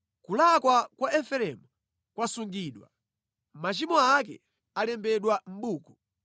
Kulakwa kwa Efereimu kwasungidwa, machimo ake alembedwa mʼbuku.